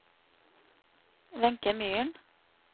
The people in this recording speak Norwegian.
Wenche Myhren